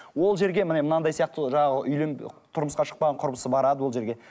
ол жерге міне мынандай сияқты жаңағы тұрмысқа шықпаған құрбысы барады ол жерге